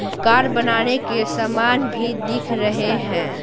Car बनाने के सामान भी दिख रहे हैं।